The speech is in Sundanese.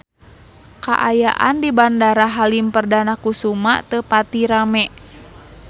Kaayaan di Bandara Halim Perdana Kusuma teu pati rame